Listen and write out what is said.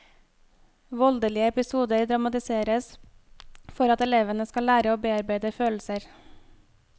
Voldelige episoder dramatiseres for at elevene skal lære å bearbeide følelser.